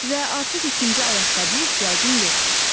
Və artıq ikinci ayaqqabıya ehtiyacım yoxdur.